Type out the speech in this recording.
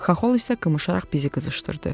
Xaxol isə qımışaraq bizi qızışdırdı.